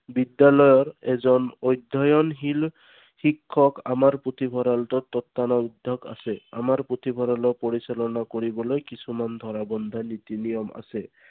বিদ্যালয়ৰ এজন অধ্যয়ণশীল শিক্ষক আমাৰ পুথিভঁৰালটোত আছে। আমাৰ পুথিভঁৰালক পৰিচালনা কৰিবলৈ কিছুমান ধৰা বন্ধা নীতি নিয়ম আছে।